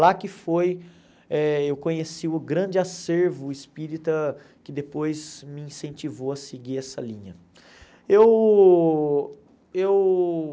Lá que foi, eh eu conheci o grande acervo espírita que depois me incentivou a seguir essa linha. Eu eu